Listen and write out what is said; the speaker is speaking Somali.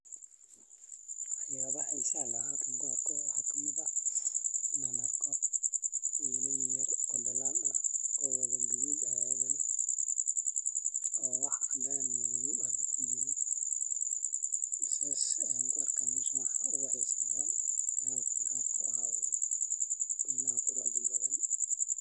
Waxyaaba xiisa leh an halkan kuarko waxaa kamid ah inaan arko weyla yaryar oo dalaan ah oo wadha gadhuud ah oo wax cadaan iyo madoow ah kujirin saas ayaan kuarkaa meshan waxa uguxisa badhan an halkan kuarko waxaa waye weylaha quruxda badhan.